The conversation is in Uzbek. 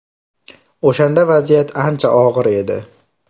O‘shanda vaziyat ancha og‘ir edi.